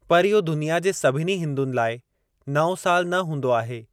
पर, इहो दुनिया जे सभनि हिंदुनि लाइ नओ साल न हूंदो आहे।